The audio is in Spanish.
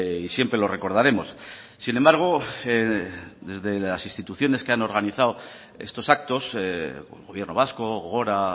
y siempre lo recordaremos sin embargo desde las instituciones que han organizado estos actos gobierno vasco gogora